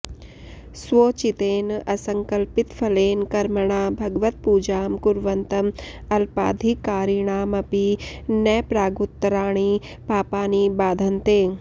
स्वोचितेन असङ्कल्पितफलेन कर्मणा भगवत्पूजां कुर्वन्तं अल्पाधिकारिणामपि न प्रागुत्तराणि पापानि बाधन्ते